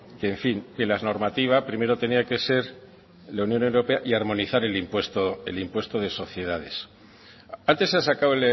en fin que la normativa primero tenía que ser en la unión europea y armonizar el impuesto de sociedades antes se ha sacado